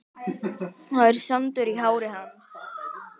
Það er sandur í hári hans.